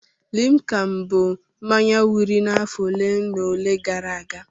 Limka bụ mmanya wiri n'afọ ole na ole gara aga.